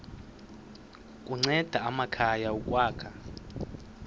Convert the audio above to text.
kunceda amakhaya ukwakha